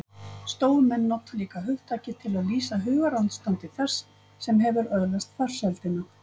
Stóumenn nota líka hugtakið til að lýsa hugarástandi þess sem hefur öðlast farsældina.